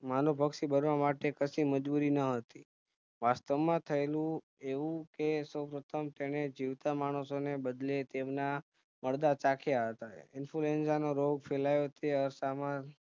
માનવભક્ષી બનવા માટે કશી મજબૂરી ન હતી વાસ્તવ માં થયેલું એવું કે સોઉ પ્રથમ તેને જીવતા માણસોને બાદતે તેમના મડદા ચાખ્યા હતા influenza નો રોગ ફેલાય તે અરસામાં